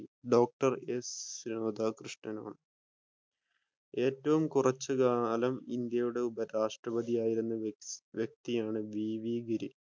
Doctor S രാധാകൃഷ്ണനാണ്. ഏറ്റവും കുറച്ചു കാലം ഇന്ത്യയുടെ ഉപരാഷ്ട്രപതിയായിരുന്ന വ്യക്തിയാണ് വി വി